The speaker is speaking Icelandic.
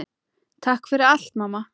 Takk fyrir allt, mamma.